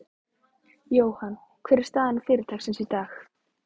Jóhann, hver er staða fyrirtækisins í dag?